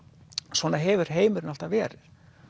svona hefur heimurinn alltaf verið